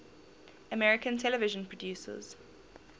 american television producers